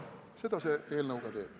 Seda see eelnõu ka teeb.